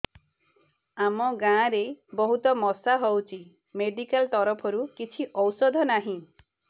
ଆମ ଗାଁ ରେ ବହୁତ ମଶା ହଉଚି ମେଡିକାଲ ତରଫରୁ କିଛି ଔଷଧ ନାହିଁ